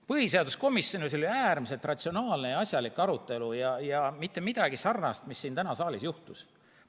Põhiseaduskomisjonis oli äärmiselt ratsionaalne ja asjalik arutelu ja mitte midagi sarnast, mis siin täna saalis juhtus.